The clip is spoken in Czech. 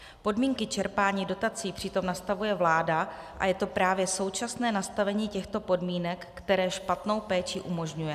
Podmínky čerpání dotací přitom nastavuje vláda a je to právě současné nastavení těchto podmínek, které špatnou péči umožňuje.